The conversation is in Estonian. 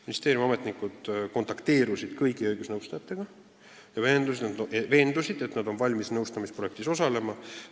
Ministeeriumi ametnikud kontakteerusid kõigi õigusnõustajatega ja veendusid, et nad on valmis nõustamisprojektis osalema.